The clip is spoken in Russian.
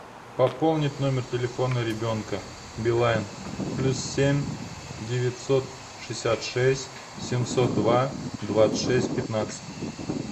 пополнить номер телефона ребенка билайн плюс семь девятьсот шестьдесят шесть семьсот два двадцать шесть пятнадцать